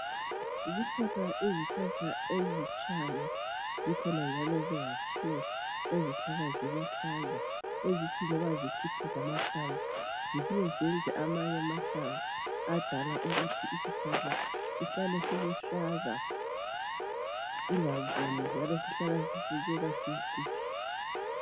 Zikhona izihlahla ezitshayo, zikhona njalo ezingatshiyo ezihlala ziluhlaza, ezithi loba zikhithiza amahlamvu zifike zenze amanye amahlamvu adala ukuthi isihlahla sihlale siluhlaza zingabuni. Njalo sihlala sibukeka sisihle.